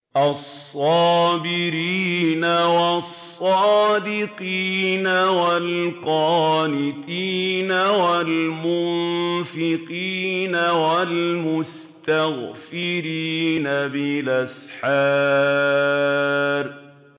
الصَّابِرِينَ وَالصَّادِقِينَ وَالْقَانِتِينَ وَالْمُنفِقِينَ وَالْمُسْتَغْفِرِينَ بِالْأَسْحَارِ